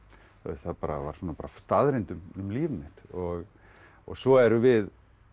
það var bara svona staðreynd um líf mitt svo erum við